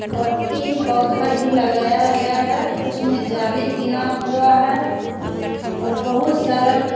और तीन पौधा भी लगाया गया है उसमे जाली बिना हुआ है और बहुत सारा --